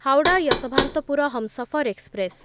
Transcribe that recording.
Howrah Yesvantpur Humsafar express